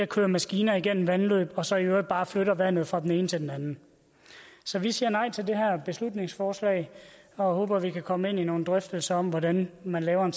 kører maskiner igennem vandløbene og man så i øvrigt bare flytter vandet fra den ene til den anden så vi siger nej til det her beslutningsforslag og håber at vi kan komme ind i nogle drøftelser om hvordan man laver en